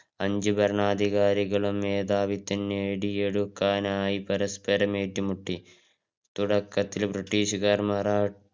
അഞ്ച് ഭരണാധികാരികളും മേധാവിത്വം നേടിയെടുക്കാനായി പരസ്പരം ഏറ്റുമുട്ടി തുടകത്തില് ബ്രിട്ടീഷുക്കാർ മറാ